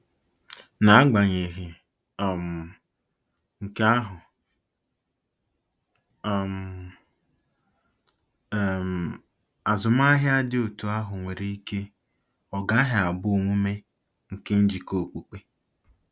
N'agbanyeghị um nke ahụ um, um azụmahịa dị otú ahụ nwere ike ọ gaghị abụ omume nke njikọ okpukpe.